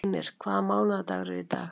Einir, hvaða mánaðardagur er í dag?